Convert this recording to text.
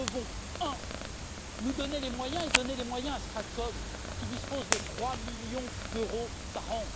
Nous devons nous donner les moyens et donner les moyens à StratCom, qui dispose de trois millions d'euros par an.